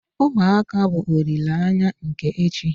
Ụmụaka bụ olileanya nke echi.